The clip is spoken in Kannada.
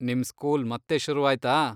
ನಿಮ್ ಸ್ಕೂಲ್ ಮತ್ತೆ ಶುರುವಾಯ್ತಾ?